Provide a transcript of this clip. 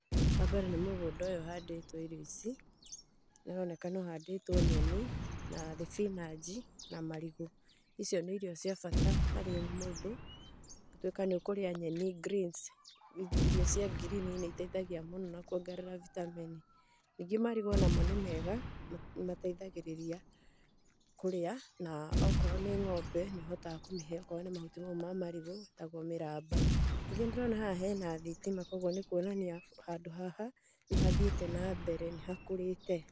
Wambere nĩ mũgũnda ũyũ ũhandĩtwo irio ici, nĩ ũroneka nĩ ũhandĩtwo nyeni na thibinanji na marigũ. Icio nĩ irio cia bata harĩ mũndũ, gũtuĩka nĩ ũkũrĩa nyeni, greens, irio cia ngirini nĩ iteithagia mũno na kũongerera vitamin. Ningĩ marigũ o namo nĩ mega, nĩ mateithagĩrĩria kũrĩa na okorwo nĩ ng'ombe, nĩ ũhotaga kũmĩhe, okorwo nĩ mahuti mau ma marigũ, metagwo mĩramba. Ningĩ nĩ ndĩrona haha hena thitima koguo nĩ kuonania handũ haha nĩ hathiĩte nambere, nĩ hakũrĩte.